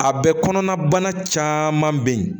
A bɛ kɔnɔna bana caman bɛ yen